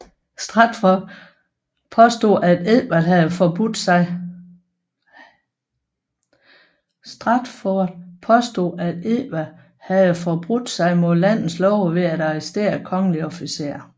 Stratford påstod at Edvard havde forbrudt sig mod landets love ved at arrestere kongelige officerer